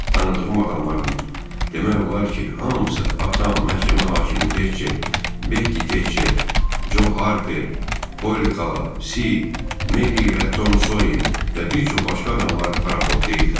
Tanıdığım adamların demək olar ki, hamısı: atam, məhkəmə hakimi Tekçer, Bekki Tekçer, Jo Harper, Polli xala, Sid, Meri ilə Tom Soyer və bir çox başqa adamlar paraxotda idilər.